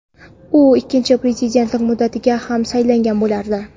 u ikkinchi prezidentlik muddatiga ham saylangan bo‘lardi.